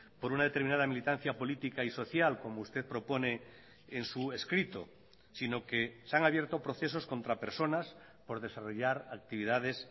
por una determinada militancia política y social como usted propone en su escrito sino que se han abierto procesos contra personas por desarrollar actividades